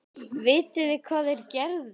Vitið þið hvað þeir gerðu?